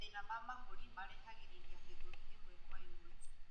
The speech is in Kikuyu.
Mahina ma mahũri marehagirirĩa gĩthũri imwe kwa imwe